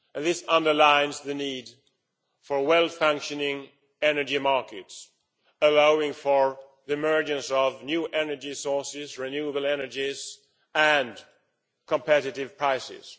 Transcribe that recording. This underlines the need for well functioning energy markets, allowing for the emergence of new energy sources, renewable energies and competitive prices.